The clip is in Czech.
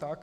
Tak.